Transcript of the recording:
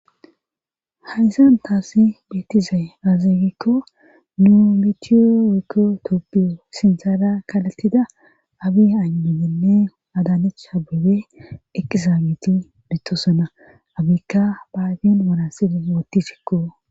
Hayzan taassi beetizay azegikko nuu mitiyo wekko tooppiyo sintala kalatida abi anudenne adanich habebe eqqizaageti bettosana abikka baayen worasibe wootti shekko